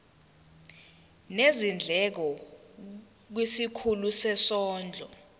nezindleko kwisikhulu sezondlo